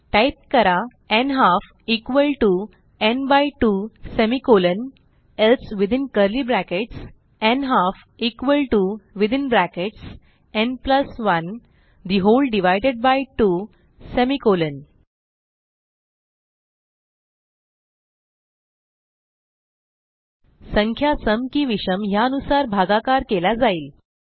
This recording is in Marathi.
टाईप करा n half n 2 n half equal to n by 2 semicolon else within curly brackets n half equal to within brackets n 1 the whole divided by 2 semicolon 2 संख्या सम की विषम ह्यानुसार भागाकार केला जाईल